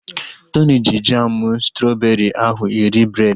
Tony ji jamu strọbeeri ahụ eri breed